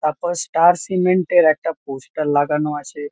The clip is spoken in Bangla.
তারপর স্টার সিমেন্ট -এর একটা পোস্টার লাগানো আছে।